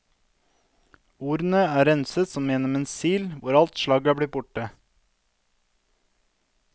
Ordene er renset som gjennom en sil hvor alt slagg er blitt borte.